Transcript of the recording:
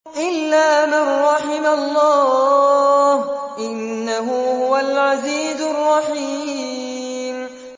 إِلَّا مَن رَّحِمَ اللَّهُ ۚ إِنَّهُ هُوَ الْعَزِيزُ الرَّحِيمُ